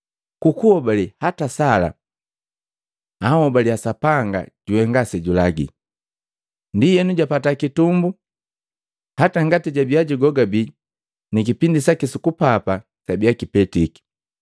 Ku kuhobale hata Sala jahobaliya Sapanga juhenga sejulagi, ndienu japata kitumbu hata ngati jabia jugogabi ni kipindi saki su kupapa sabiya kipetike.